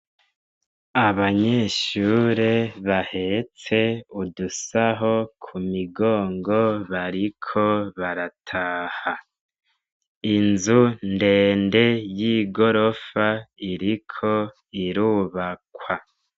Abanyeshure bahetse udusahi kumugongo bariko barataha inzu ndende yigorofa ririko irubakwa.